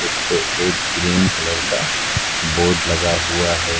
इस पे एक ग्रीन कलर का बोर्ड लगा हुआ है।